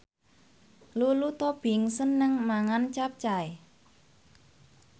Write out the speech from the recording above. Lulu Tobing seneng mangan capcay